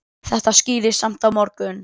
Það skýrist samt á morgun.